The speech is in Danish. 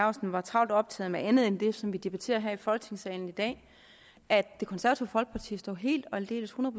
laustsen var travlt optaget af andet end det som vi debatterer her i folketingssalen i dag at det konservative folkeparti står helt og aldeles hundrede